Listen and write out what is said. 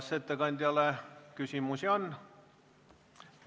Kas ettekandjale küsimusi on?